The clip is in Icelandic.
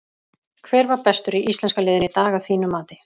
Hver var bestur í íslenska liðinu í dag að þínu mati?